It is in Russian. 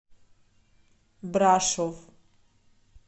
брашов